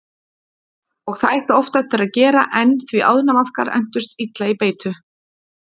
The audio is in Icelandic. Og það ætti oft eftir að gera enn því ánamaðkar entust illa í beitu.